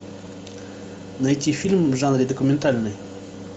найти фильм в жанре документальный